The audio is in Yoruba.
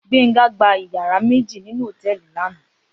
Gbenga gbá iyàrá méji ninú hótèlí làná